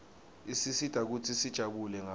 isisita kutsi sijabule ngayo